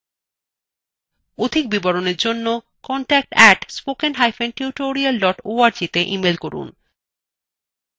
অধিক বিবরণের জন্য যোগাযোগ @spokentutorial org তে ইমেল করুন